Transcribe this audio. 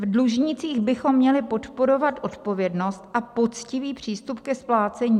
V dlužnících bychom měli podporovat odpovědnost a poctivý přístup ke splácení.